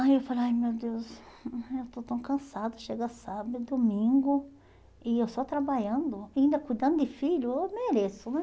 Aí eu falei, ai meu Deus, eu estou tão cansada, chega sábado e domingo, e eu só trabalhando, ainda cuidando de filho, eu mereço, né?